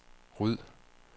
ryd